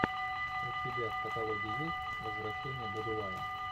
у тебя в каталоге есть возвращение будулая